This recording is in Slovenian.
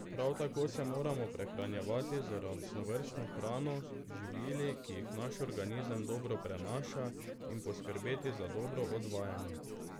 Prav tako se moramo prehranjevati z raznovrstno hrano, z živili, ki jih naš organizem dobro prenaša, in poskrbeti za dobro odvajanje.